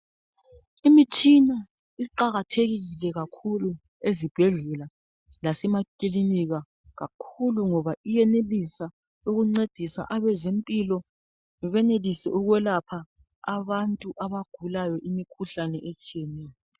Imitshina iqakathekile kakhulu ezibhedlela lasemakilinika kakhulu ngoba iyenelisa ukuncedisa abezempilo benelise ukwelapha abantu abagulayo imikhuhlane etshiyeneyo.